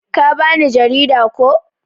Ka ba ni jarida, ko?